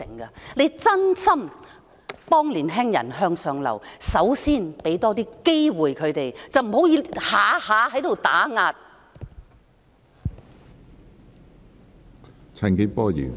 如當局真心幫青年人向上流，首先要給他們多些機會，不要動輒打壓。